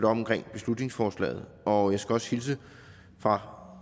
omkring beslutningsforslaget og jeg skal også hilse fra